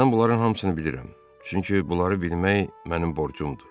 Mən bunların hamısını bilirəm, çünki bunları bilmək mənim borcumdur.